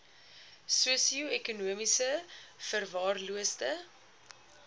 sosio ekonomies verwaarloosde